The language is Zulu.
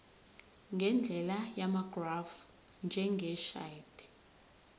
ngendlela yamagrafu njengeshadi